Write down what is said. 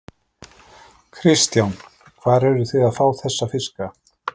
Kristján: Hvar eruð þið að fá þessa fiska?